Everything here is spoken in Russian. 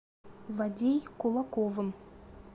вадей кулаковым